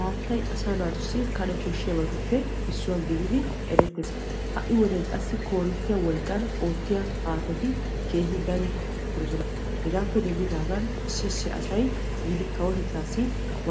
haattay asaa naatussi kane koshshiyabatuppe issuwa gididi erettes. ha'i wodiyan qassi koorinttiya wolqqan oottiya haattati keehi dari uttidosona. hegaappe denddidaagan issi issi asay yiidi kawotettaassi